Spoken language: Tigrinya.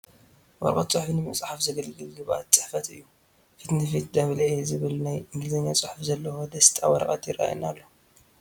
ወረቐት ፅሑፍ ንምፅሓይ ዘግልግል ግብኣት ፅሕፈት እዩ፡፡ ፊት ንፊት ደብል ኤ ዝብል ናይ እንግሊዝኛ ፅሑፍ ዘለዎ ደስጣ ወረቐት ይርአየና ኣሎ፡፡